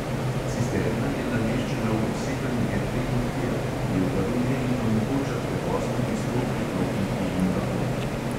Cisterna je nameščena v poseben jeklen okvir, ki jo varuje in omogoča prevoz tudi s polpriklopniki in vagoni.